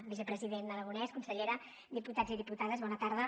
vicepresident aragonès consellera diputats i diputades bona tarda